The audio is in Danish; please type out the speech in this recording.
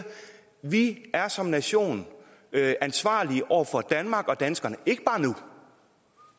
at vi som nation er ansvarlige over for danmark og danskerne ikke bare nu